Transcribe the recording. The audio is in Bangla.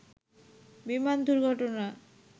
বিমান দুর্ঘটনা